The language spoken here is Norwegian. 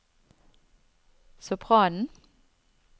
sopranen